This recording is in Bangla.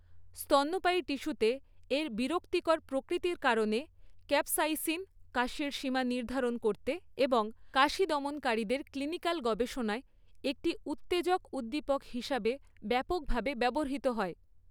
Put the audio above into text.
স্তন্যপায়ী টিস্যুতে এর বিরক্তিকর প্রকৃতির কারণে, ক্যাপসাইসিন, কাশির সীমা নির্ধারণ করতে এবং কাশি দমনকারীদের ক্লিনিকাল গবেষণায় একটি উত্তেজক উদ্দীপক হিসাবে ব্যাপকভাবে ব্যবহৃত হয়।